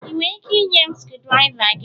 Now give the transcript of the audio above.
Ị nwere ike ịnye m screwdriva gị?